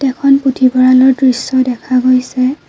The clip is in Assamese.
ইয়াতে এখন পুথিভঁৰালৰ দৃশ্য দেখা গৈছে।